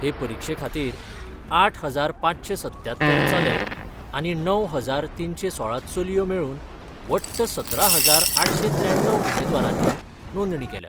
हे परिक्षे खातीर आठ हजार पांचशे सत्त्यात्तर चले आनी णव हजार तीनशे सोळा चलयो मेळून वट्ट सतरा हजार आठशे त्र्याण्णव उमेदवारांनी नोंदणी केल्या.